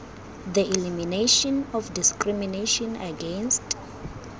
the elimination of discrimination against